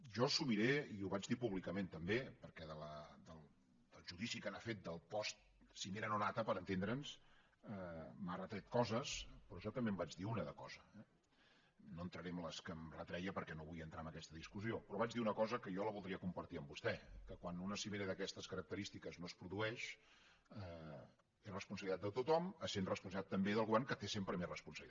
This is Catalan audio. jo assumiré i ho vaig dir públicament també perquè del judici que n’ha fet del postcimera no nata per entendre’ns m’ha retret coses però jo també en vaig dir una de cosa eh no entraré en les que em retreia perquè no vull entrar en aquesta discussió però vaig dir una cosa que jo la voldria compartir amb vostè que quan una cimera d’aquestes característiques no es produeix és responsabilitat de tothom essent responsabilitat també del govern que té sempre més responsabilitat